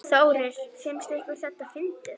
Þórir: Finnst ykkur þetta fyndið?